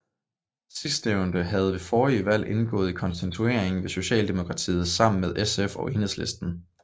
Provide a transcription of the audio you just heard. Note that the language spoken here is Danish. Sidstnævnte havde ved forrige valg indgået i konstitueringen med Socialdemokratiet sammen med SF og Enhedslisten